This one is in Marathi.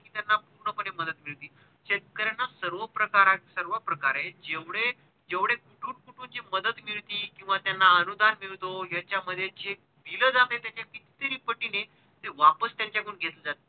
शेतकऱ्यांना सर्व प्रकारा, सर्व प्रकारे जेवढे कुठून कुठून ची मदत मिळती किव्हा त्यांना अनुदान मिळतो ह्याच्या मध्ये जे bill जाते ह्याचे कित्तेक पटीने हे वापस त्यांचे कडून घेतले जाते.